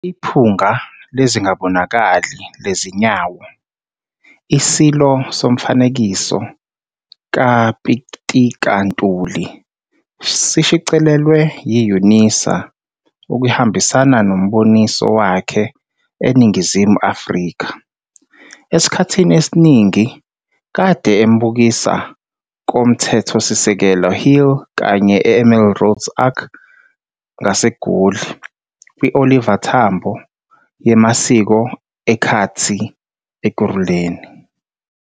'Iphunga Lezingabonakali Lezinyawo- ISilo Somfanekiso kaPitika Ntuli' sishicilelwe yi-UNISA ukuhambisana noMboniso wakhe eNingizimu Afrika. Esikhathi esiningi kade embukisa koMthethosisekelo Hill kanye eMelrose Arch ngaseGoli, kwiOliver Tambo yemasiko ekhatsi Ekhuruleni.